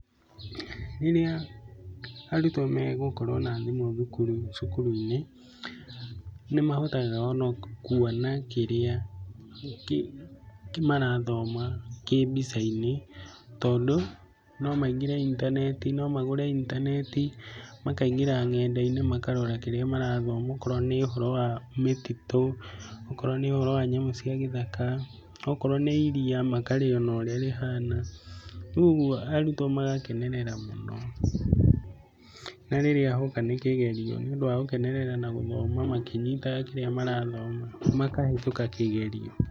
Rĩrĩa arutwo megũkorwo na thimũ cukuruinĩ, nĩmahotaga ona kuona kĩrĩa marathoma kĩ mbicainĩ, tondũ no maingĩre intaneti, no magũre intaneti makaingĩra ng'endainĩ makarora kĩrĩa marathoma. Akorwo nĩ ũhoro wa mĩtitũ, akorwo nĩ ũhoro wa nyamũ cia gĩthaka, akorwo nĩ iriya makarĩona ũrĩa rĩhana, rĩu ũguo arutwo magakenerera mũno, na rĩrĩa hoka nĩ kĩgerio nĩũndũ wa gũkenerera na gũthoma kĩrĩa marathoma makahĩtũka kĩgerio.